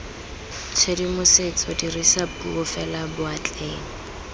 tshedimosetso dirisa puo fela boatleng